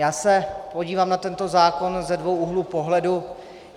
Já se podívám na tento zákon ze dvou úhlů pohledu.